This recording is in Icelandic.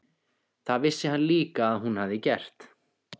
Það vissi hann líka að hún hafði gert.